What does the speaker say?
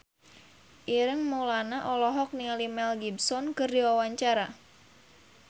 Ireng Maulana olohok ningali Mel Gibson keur diwawancara